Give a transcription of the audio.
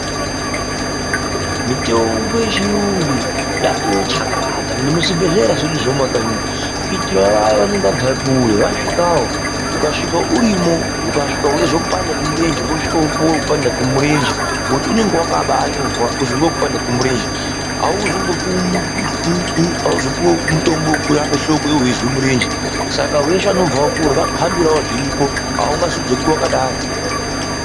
Mitombo yechiyungu yatiwo chakata nemuzvibhehlera zvedu zvemumakanyi kuitirawo vaya vanenge vabve kure vasvikawo ,ukasvika urimo ukasvika weizwe kupanda kwemurenje wosvika wopuwe wekupanda kwemirenje ngokuti unongawakaba anyorwa kuti ngewe kupanada kwemurenje auzopuwi mutombo wekurape hloko iwe weizwe murenje saka veshe vanobvawo kure vakuhambire zviripo aungazodzoki wakadaro.